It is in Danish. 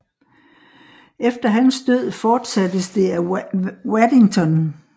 Efter hans død fortsattes det af Waddington